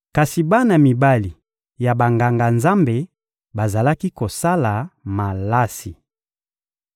Kasi bana mibali ya Banganga-Nzambe bazalaki kosala malasi.